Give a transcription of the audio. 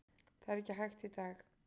Það er ekki hægt í dag.